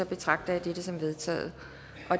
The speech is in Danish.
betragter jeg dette som vedtaget